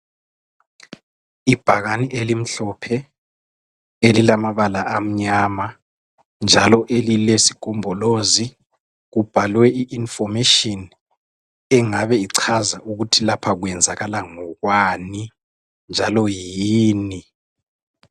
Ibhakani elimhlophe, elilamabala amnyama, njalo elilesigombolozi. Kubhalwe i-information , engabe ichaza, ukuthi lapha kwenzakala ngokwani, njalo yini.